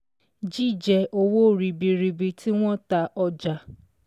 Jíjẹ owó ribiribi tí wọ́n ta ọjà.